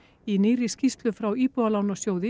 í nýrri skýrslu frá Íbúðalánasjóði